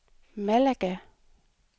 Malaga